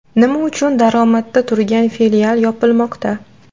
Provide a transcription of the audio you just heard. Nima uchun daromadda turgan filial yopilmoqda?